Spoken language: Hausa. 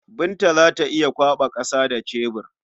Binta za ta iya kwaɓa ƙasa da cebur.